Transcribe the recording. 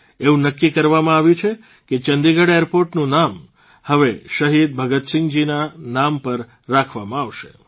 એવું નક્કી કરવામાં આવ્યું છે કે ચંદીગઢ એરપોર્ટનું નામ હવે શહીદ ભગતસિંહજીના નામ પર રાખવામાં આવશે